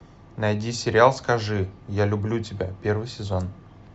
найди сериал скажи я люблю тебя первый сезон